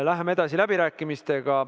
Läheme edasi läbirääkimistega.